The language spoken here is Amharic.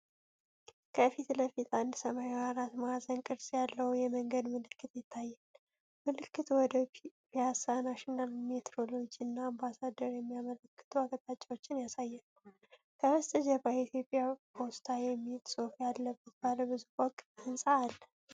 ከፊት ለፊት አንድ ሰማያዊ አራት ማዕዘን ቅርጽ ያለው የመንገድ ምልክት ይታያል። ምልክቱ ወደ ፒያሳ፣ ናሽናል ሜትሮሎጂ እና አምባሳደር የሚያመላክቱ አቅጣጫዎችን ያሳያል። ከበስተጀርባ "የኢትዮጵያ ፖስታ" የሚል ጽሑፍ ያለበት ባለብዙ ፎቅ ሕንፃ አለ።